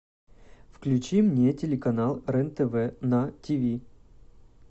включи мне телеканал рен тв на тиви